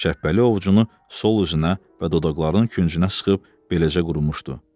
Şəhbəli ovcunu sol üzünə və dodaqlarının küncünə sıxıb beləcə qurumuşdu.